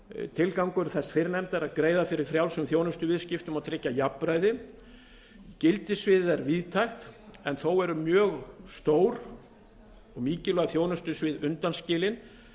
tilgangur þess fyrrnefnda er að greiða fyrir frjálsum þjónustuviðskiptum og tryggja jafnræði gildissviðið er víðtækt en þó eru mjög stór og mikilvæg þjónustusvið undanskilin